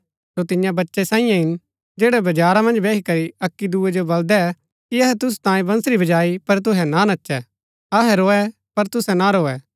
सो तियां बच्चै सांईं हिन जैड़ै बजारा मन्ज बैही करी अक्की दुऐ जो बल्‍दै कि अहै तुसू तांई बंसरी बजाई पर तुसै ना नचै अहै रोऐ पर तुसै ना रोऐ